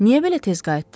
Niyə belə tez qayıtdın?